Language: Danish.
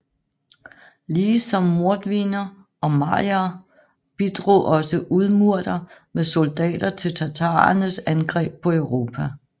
Lige som mordviner og marier bidrog også udmurter med soldater til tatarernes angreb på Europa